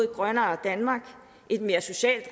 grønnere danmark et mere socialt